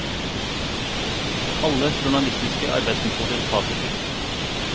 Alle journalistiske arbeidsmetoder tas i bruk.